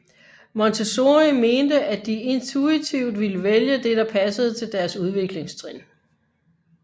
Montessori mente at de intuitivt ville vælge det der passede til deres udviklingstrin